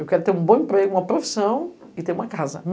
Eu quero ter um bom emprego, uma profissão e ter uma casa.